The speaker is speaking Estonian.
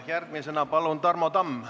Järgmisena palun Tarmo Tamm!